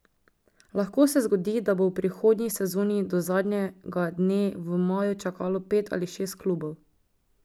Lahko se zgodi, da bo v prihodnji sezoni do zadnjega dne v maju čakalo pet ali šest klubov.